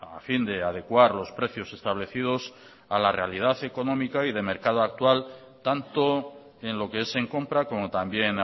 a fin de adecuar los precios establecidos a la realidad económica y de mercado actual tanto en lo que es en compra como también